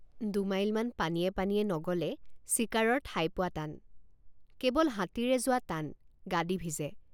দুমাইলমান পানীয়ে পানীয়ে নগ'লে চিকাৰৰ ঠাই পোৱা টান কেৱল হাতীৰে যোৱা টান গাদী ভিজে।